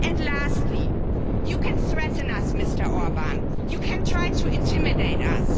Lastly, you can threaten us, Mr Orbán. You can try to intimidate us.